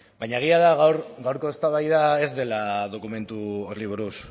baina egia da gaurko eztabaida ez dela dokumentu horri buruz